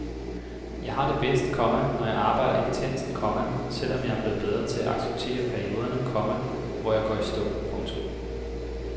Jeg har det bedst, komma når jeg arbejder intenst, komma selv om jeg er blevet bedre til at acceptere perioderne, komma hvor jeg går i stå. punktum